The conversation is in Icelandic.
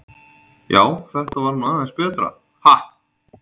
Já, þetta var nú aðeins betra, ha!